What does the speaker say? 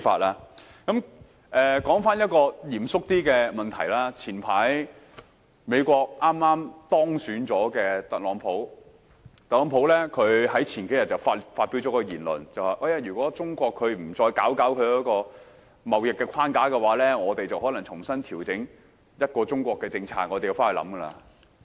說回一個比較嚴肅的問題，早前剛當選美國總統的特朗普，在數天前發表了一篇言論："如果中國不再整頓貿易框架，我們便可能重新調整'一個中國'的政策"。